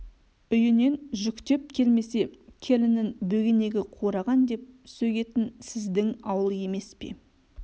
үйінен жүктеп келмесе келінін бөгенегі қураған деп сөгетін сіздің ауыл емес пе